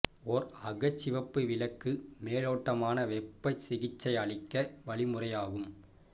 ஒரு அகச்சிவப்பு விளக்கு மேலோட்டமான வெப்ப சிகிச்சை அளிக்க வழிமுறையாகும்